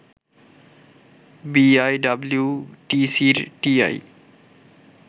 বিআইডিব্লিউটিসির TI